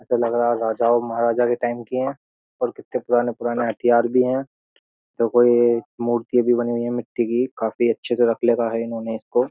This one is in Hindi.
ऐसा लग रहा है राजा और महाराजा के टाइम की हैं और कितने पुराने-पुराने हथियार भी हैं देखो यह मूर्ति भी बनी हुई है मिट्टी की काफी अच्छे से रख है इन्होंने इसको --